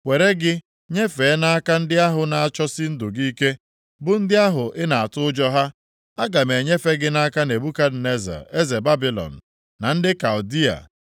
were gị nyefee nʼaka ndị ahụ na-achọsi ndụ gị ike, bụ ndị ahụ ị na-atụ ụjọ ha. Aga m enyefe gị nʼaka Nebukadneza eze Babilọn na ndị Kaldịa.